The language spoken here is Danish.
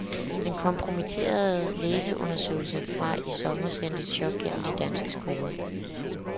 Den kompromitterende læseundersøgelse fra i sommer sendte et chok gennem de danske skoler.